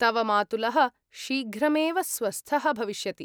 तव मातुलः शीघ्रमेव स्वस्थः भविष्यति।